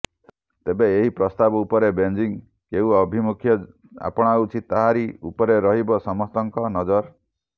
ତେବେ ଏହି ପ୍ରସ୍ତାବ ଉପରେ ବେଜିଂ କେଉଁ ଆଭିମୁଖ ଆପଣାଉଛି ତାରି ଉପରେ ରହିବ ସମସ୍ତଙ୍କ ନଜର